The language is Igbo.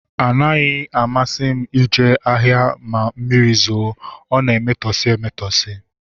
Ọ naghị amasị m ije ahịa ma mmiri zoo, ọ na-emetọsi emetọsi